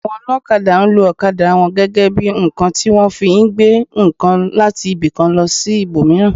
Àwọn olokada, nlo okada wọn gẹ́gẹ́ bí ǹkan tí wọ́n fi ń gbé ǹkan láti ibi kan sí ibò míràn